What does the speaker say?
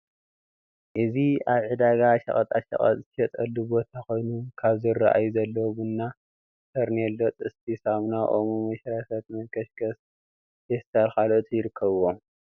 እዚ አብ ዕዳጋ ሸቀጣሸቀጥ ዝሽየጠሉ ቦታኮይኑ ካብ ዝረአዩ ዘለዉ፡- ቡና፣ ፈርኔሎ፣ ጥስቲ፣ ሳሙና ፣ ኦሞ፣ መሽረፈት፣ መንከሽከሽ፣ ፌስታልን ካልኦትን ይርከቡዎም፡፡